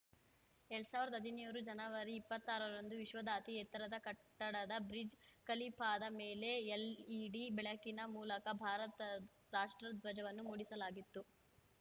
ಎರಡ್ ಸಾವಿರ್ದ್ ಹದಿನೇರು ಜನವರಿ ಇಪ್ಪತ್ತಾರರಂದು ವಿಶ್ವದ ಅತಿ ಎತ್ತರದ ಕಟ್ಟದ ಬ್ರಿಜ್ ಖಲೀಫಾದ ಮೇಲೆ ಎಲ್‌ಇಡಿ ಬೆಳಕಿನ ಮೂಲಕ ಭಾರತ ರಾಷ್ಟ್ರಧ್ವಜವನ್ನು ಮೂಡಿಸಲಾಗಿತ್ತು